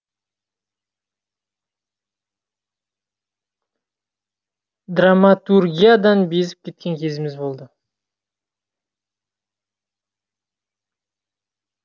драматургиядан безіп кеткен кезіміз болды